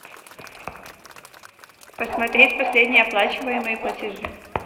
посмотреть последние оплачиваемые платежи